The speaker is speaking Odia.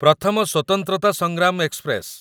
ପ୍ରଥମ ସ୍ୱତନ୍ତ୍ରତା ସଂଗ୍ରାମ ଏକ୍ସପ୍ରେସ